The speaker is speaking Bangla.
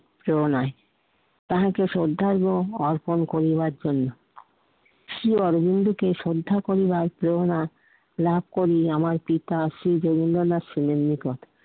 প্রেরণায়। তাহাকে শ্রদ্ধার্ঘ্য অর্পণ করিবার জন্য। শ্রী অরবিন্দকে শ্রদ্ধা করিবার প্রেরণা লাভ করি আমার পিতা শ্রী রবীন্দ্রনাথ ছিলেন নিকট।